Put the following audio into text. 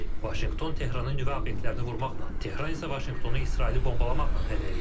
Vaşinqton Tehranın nüvə obyektlərini vurmaqla, Tehran isə Vaşinqtonu İsraili bombalamaqla hədələyir.